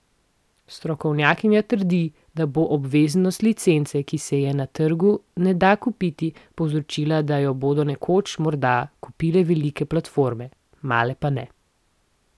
Strokovnjakinja trdi, da bo obveznost licence, ki se je na trgu ne da kupiti, povzročila, da jo bodo nekoč morda kupile velike platforme, male pa ne.